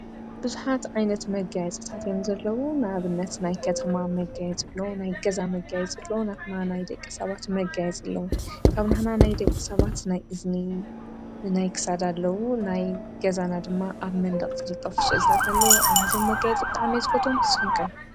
ብዙኃት ዓይነት መጋይ ጽታት የም ዘለዉ ናብነት ናይ ከተማ መጋየጽሎ ናይ ገዛ መጋየጽሎ ናትማ ናይ ደቂ ሰባት መጋየጸለዉ ካብ ናህና ናይ ደቂ ሰባት ናይ እዝኒ ናይ ክሳዳ ኣለዉ ናይ ገዛና ድማ ኣብ መንድቕትደጠፉ ስልታት ኣለዉ ኣነዞም መጋይ ጽጠዓመይዝከቶም ስንቀ?